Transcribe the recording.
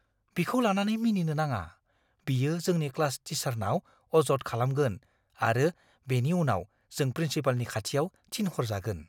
बिखौ लानानै मिनिनो नाङा। बियो जोंनि क्लास टीचारनाव अजद खालामगोन आरो बेनि उनाव जों प्रिन्सिपालनि खाथियाव थिनहरजागोन।